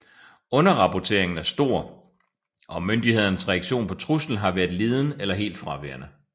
Underrapporteringen er stor og myndighedernes reaktion på truslen har været liden eller helt fraværende